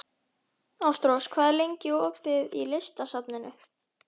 Ástrós, hvað er lengi opið í Listasafninu?